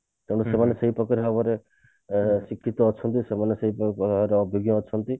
ତେଣୁ ସେମାନେ ସେଇ ପ୍ରକାର ଭାବରେ ଅ ଶିଖିକି ଅଛନ୍ତି ସେମାନେ ସେଇ ଅଭିଜ୍ଞ ଅଛନ୍ତି